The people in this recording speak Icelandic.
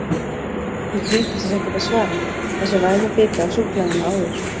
Hún flýtir sér ekkert að svara, fær sér vænan bita af súkkulaðinu áður.